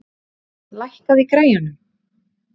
Ýr, lækkaðu í græjunum.